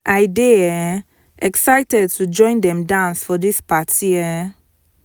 i dey um excited to join dem dance for dis party um